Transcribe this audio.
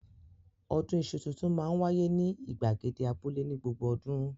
Ọdún iṣu tuntun máa ń wáyé ní ìgbàgede abúlé ní gbogbo ọdún.